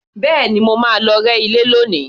Bẹ́ẹ̀ni, mo máa lọ rẹ́ ilé lónìí